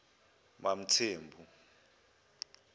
mamthembu